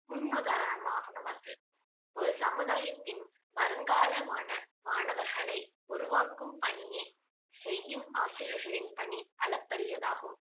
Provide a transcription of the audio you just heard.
முன் உதாரணமானவர்கள் ஒரு சமூதாயத்தின் வருங்காலமான மாணவர்களை உருவாக்கும் பணியை செய்யும் ஆசிரியர்களின் பணி அளப்பரியதாகும்